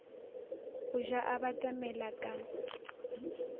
go ja a batamela ka